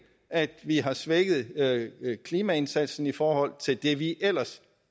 at vi har svækket klimaindsatsen i forhold til det vi ellers